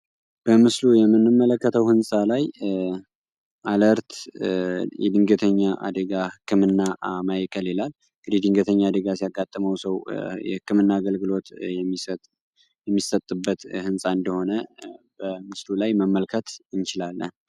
በምስሉ የምንመለከተው ሕንፃ ላይ አለርት የድንገተኛ አዴጋ ሕክምና ማእከል ይላል። እንግዲ ድንገተኛ አደጋ ሲያቃጠመው ሰው የህክምና አገልግሎት የሚሰጥበት ሕንፃ እንደሆነ በምስሉ ላይ መመልከት ይችላል።